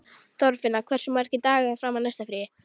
Þorfinna, hversu margir dagar fram að næsta fríi?